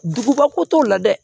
Duguba ko t'o la dɛ